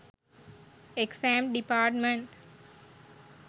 exam department